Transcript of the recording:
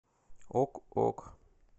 ок ок